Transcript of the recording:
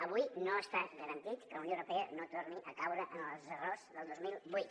avui no està garantit que la unió europea no torni a caure en els errors del dos mil vuit